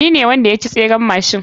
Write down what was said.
Ni ne wanda yaci tseren machine.